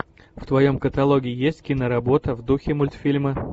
в твоем каталоге есть киноработа в духе мультфильма